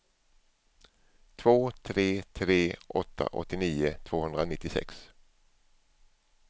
två tre tre åtta åttionio tvåhundranittiosex